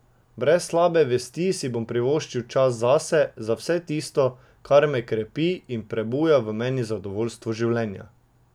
Brez slabe vesti si bom privoščil čas zase, za vse tisto, kar me krepi in prebuja v meni zadovoljstvo življenja.